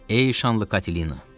Ey şanlı Katelina!